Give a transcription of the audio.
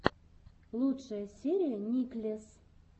лучшая серия никлесс